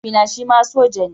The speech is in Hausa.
Mahaifina shima soja ne.